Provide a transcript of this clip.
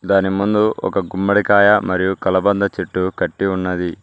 దాని ముందు ఒక గుమ్మడికాయ మరియు కలబంద చెట్టు కట్టి ఉన్నది.